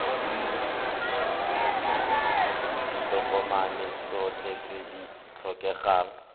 ditokomane tsotlhe tse di tlhokegang